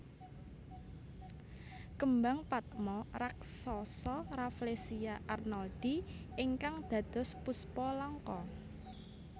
Kembang patma raksasa Rafflesia arnoldii ingkang dados Puspa Langka